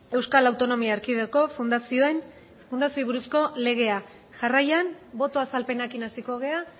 euskal autonomia erkidegoko fundazioei buruzko legea jarraian boto azalpenekin hasiko gara